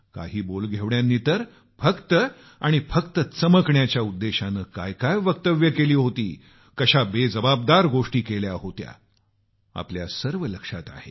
काही बोलघेवड्यांनी तर फक्त आणि फक्त चमकण्याच्या उद्देश्यानं काय काय वक्तव्यं केली होती कशा बेजबाबदार गोष्टी केल्या होत्या आम्हाला सर्व लक्षात आहे